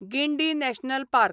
Guindy National park